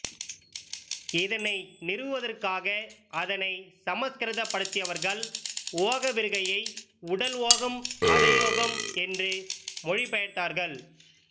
இதனை நிறுவுவதற்காக அதனை சமற்கிருதப்படுத்தியவர்கள் ஓகவிருக்கையை உடல் ஓகம் அத யோகம் என்று மொழிபெயர்த்தார்கள்